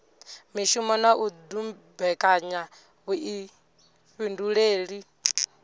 mishumo na u dumbekanya vhuifhinduleli